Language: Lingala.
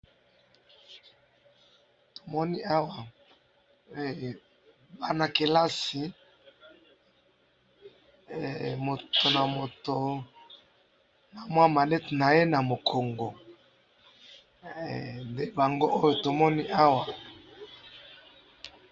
to moni awa bana kelasi moto na moto na mua malette naye na mokongo nde bango oyo to moni awa